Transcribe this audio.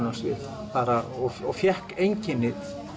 á svið og fékk einkenni